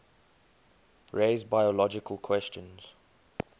raise biological questions